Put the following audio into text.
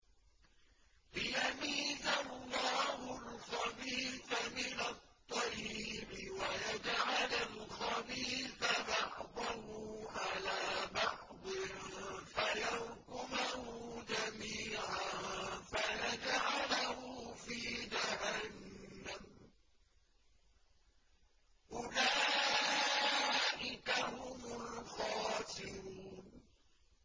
لِيَمِيزَ اللَّهُ الْخَبِيثَ مِنَ الطَّيِّبِ وَيَجْعَلَ الْخَبِيثَ بَعْضَهُ عَلَىٰ بَعْضٍ فَيَرْكُمَهُ جَمِيعًا فَيَجْعَلَهُ فِي جَهَنَّمَ ۚ أُولَٰئِكَ هُمُ الْخَاسِرُونَ